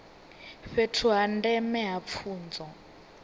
fhethu ha ndeme ha pfunzo